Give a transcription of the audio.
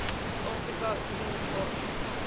afrika unie au